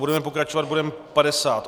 Budeme pokračovat bodem